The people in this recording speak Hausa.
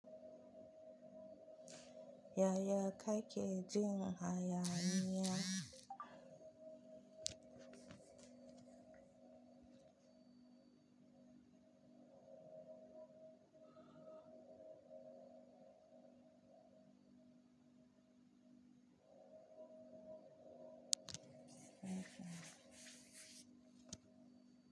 Yaya ka ke jin haya niya?